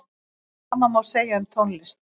Sama má segja um tónlist.